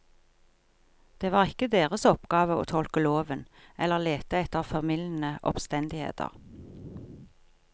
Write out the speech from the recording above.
Det var ikke deres oppgave å tolke loven eller lete etter formildende omstendigheter.